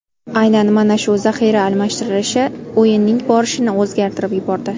Aynan mana shu zaxira almashtirishi o‘yinning borishini o‘zgartirib yubordi.